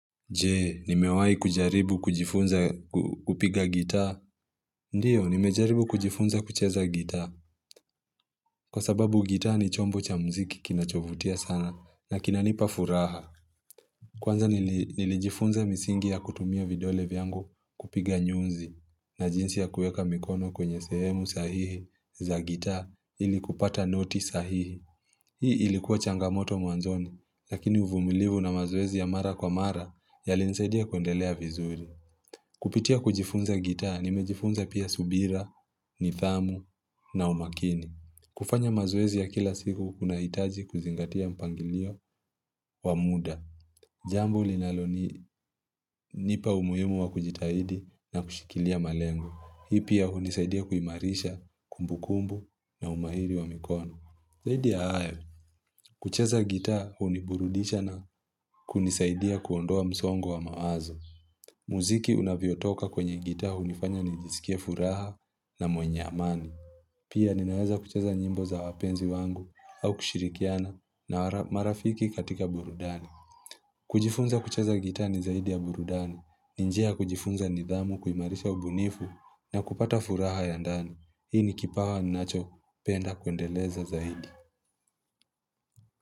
Jee, nimewayi kujaribu kujifunza kupiga gitaa. Ndiyo, nimejaribu kujifunza kucheza gitaa. Kwa sababu gitaa ni chombo cha mziki kinacho vutia sana na kina nipa furaha. Kwanza nilijifunza misingi ya kutumia vidole vyangu kupiga nyuzi. Na jinsi ya kueka mikono kwenye sehemu sahihi za gitaa ili kupata noti sahihi. Hii ilikuwa changamoto mwanzoni, lakini uvumilivu na mazoezi ya mara kwa mara yali ni saidia kundelea vizuri. Kupitia kujifunza gita, nime jifunza pia subira, nidhamu na umakini. Kufanya mazoezi ya kila siku, kuna itaji kuzingatia mpangilio wa muda. Jambu linalo ni nipa umuhimu wa kujitahidi na kushikilia malengo. Hii pia hunisaidia kuimarisha, kumbukumbu na umahiri wa mikono. Zaidi ya hayo, kucheza gita huni burudisha na kunisaidia kuondoa msongo wa mawazo. Muziki unavyo toka kwenye gita hu nifanya nijisikiye furaha na mwenye amani. Pia ninan weza kucheza nyimbo za wapenzi wangu au kushirikiana na marafiki katika burudani. Kujifunza kuchaza gita ni zaidi ya burudani, ni njia kujifunza nidhamu kuimarisha ubunifu na kupata furaha ya ndani. Hii ni kipawa ninacho penda kuendeleza zaidi.